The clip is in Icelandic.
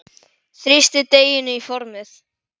Þrýstið deiginu í formið.